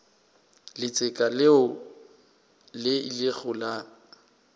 letseka leo le ilego la